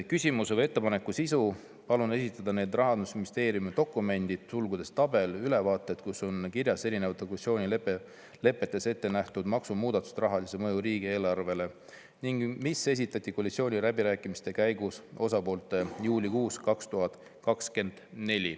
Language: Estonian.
Küsimuse või ettepaneku sisu: palun esitada need Rahandusministeeriumi dokumendid , kus on kirjas erinevate koalitsioonilepetes ette nähtud maksumuudatuste rahalised mõjud riigieelarvele ning mis esitati koalitsiooniläbirääkimiste käigus osapooltele juulikuus 2024.